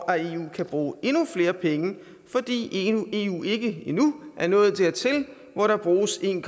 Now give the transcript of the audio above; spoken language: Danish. at eu kan bruge endnu flere penge fordi eu endnu ikke er nået dertil hvor der bruges en